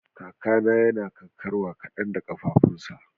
Kakana yana karkarwa kadan da kafafunsa.